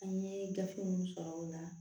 An ye gafe minnu sɔrɔ o la